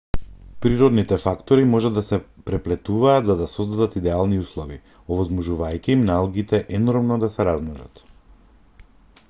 природните фактори можат да се преплетуваат за да создадат идеални услови овозможувајќи им на алгите енормно да се размножат